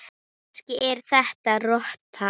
Kannski er þetta rotta?